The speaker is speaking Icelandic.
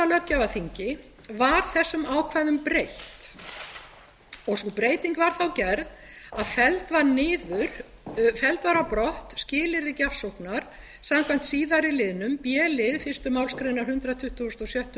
löggjafarþingi var þessum ákvæðum breytt sú breyting var þá gerð að felld var á brott skilyrði gjafsóknar samkvæmt síðari liðnum b lið fyrstu málsgrein hundrað tuttugasta og sjöttu